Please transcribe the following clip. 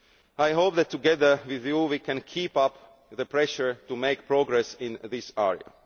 I hope that together with you we can keep up the pressure to make progress in this